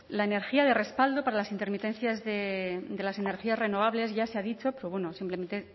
la energía de respaldo para las intermitencias de las energías renovables ya se ha dicho pero bueno simplemente